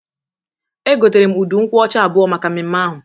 E gotere m udu nkwụ ọcha abụọ maka mmemme ahụ.